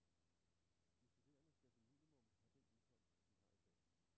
De studerende skal som minimum have den indkomst, de har i dag.